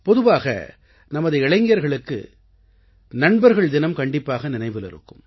பொதுவாக நமது இளைஞர்களுக்கு நண்பர்கள்தினம் கண்டிப்பாக நினைவில் இருக்கும்